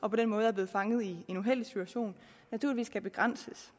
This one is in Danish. og på den måde er blevet fanget i en uheldig situation naturligvis skal begrænses